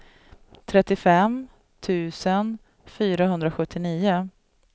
trettiofem tusen fyrahundrasjuttionio